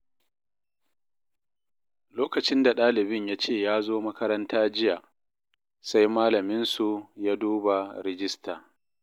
Lokacin da ɗalibin ya ce ya zo makaranta jiya, sai Malaminsu ya duba rijista.